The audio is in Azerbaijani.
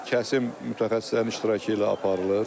Kəsim mütəxəssislərin iştirakı ilə aparılır.